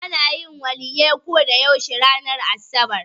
Ana yin Waliyyai ko da yaushe ranar asabar.